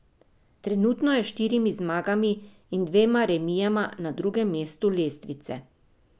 Trenutno je s štirimi zmagami in dvema remijema na drugem mestu lestvice.